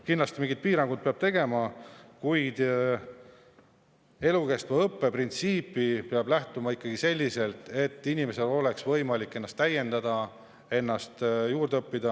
Kindlasti peab mingeid piiranguid tegema, kuid elukestva õppe printsiip peab lähtuma ikkagi sellest, et inimesel oleks võimalik ennast täiendada, juurde õppida.